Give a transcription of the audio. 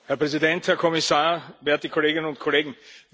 Herr Präsident, Herr Kommissar, werte Kolleginnen und Kollegen!